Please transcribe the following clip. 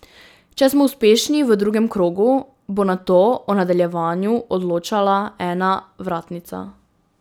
Če smo uspešni v drugem krogu, bo nato o nadaljevanju odločala ena vratnica.